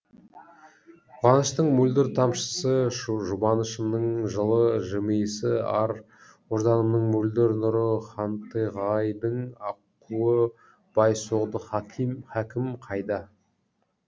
қуаныштың мөлдір тамшысы жұбанышымның жылы жымиысы ар ожданымның мөлдір нұры хантығайдың аққуы бай соғды хакім қайда